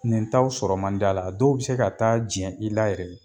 Nin taw sɔrɔ mandi a la a dɔw be se ka taa jɛn i la yɛrɛ